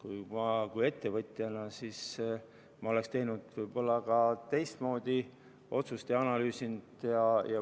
Mina kui ettevõtja oleksin võib-olla analüüsinud ja teinud teistsuguse otsuse.